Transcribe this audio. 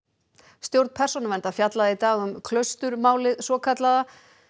stjórn Persónuverndar fjallaði í dag um svokallaða